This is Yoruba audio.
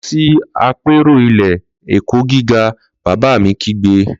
Lọ sí àpérò ilé-ẹ̀kọ́ gíga!, bàbá mi kígbe